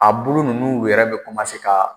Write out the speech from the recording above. A bulu ninnu yɛrɛ bɛ ka